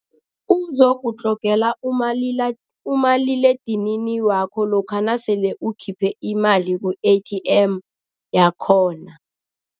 Uzokutlogela umaliledinini wakho lokha nasele ukhiphe imali ku-A_T_M yakhona.